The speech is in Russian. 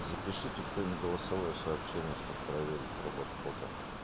запишите кто-нибудь не голосовое сообщение чтобы проверить работу бота